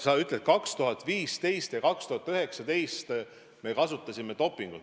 Sa ütled, et 2015 ja 2019 me kasutasime dopingut.